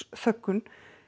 þöggun